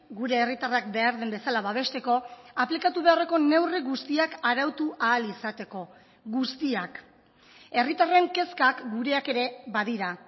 gure herritarrak behar den bezala babesteko aplikatu beharreko neurri guztiak arautu ahal izateko guztiak herritarren kezkak gureak ere ba dira